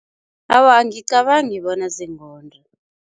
Awa, angicabangi bona zingonda.